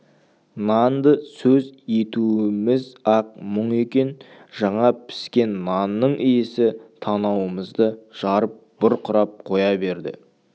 нанды сөз етуіміз-ақ мұң екен жаңа піскен нанның иісі танауымызды жарып бұрқырап қоя берді